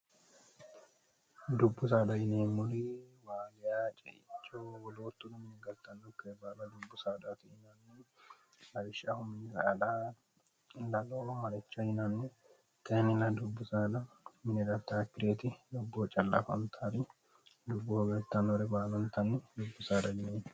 dubbu saadayine muli waaliyaciicowoloottununmni galtannokke baala dubbu saadti inannin lishsh0alo malecho yinanne tinnila dubbu saala minirataakkireeti lobboo callafantaari dubbu hogattannore baalantanni dubbu saada yinee